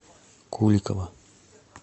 куликова